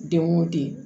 Den wo den